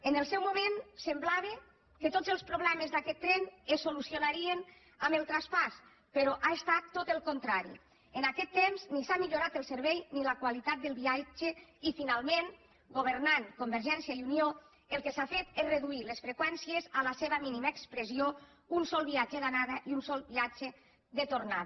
en el seu moment semblava que tots els problemes d’aquest tren es solucionarien amb el traspàs però ha estat tot el contrari en aquest temps ni s’ha millorat el servei ni la qualitat del viatge i finalment governant convergència i unió el que s’ha fet és reduir les freqüències a la seva mínima expressió un sol viatge d’anada i un sol viatge de tornada